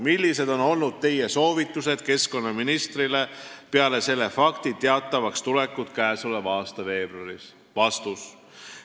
Millised on olnud Teie soovitused keskkonnaministrile peale selle fakti teatavaks tulekut käesoleva aasta veebruaris?